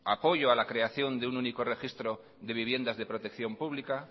apoyo a la creación de un único registro de viviendas de protección pública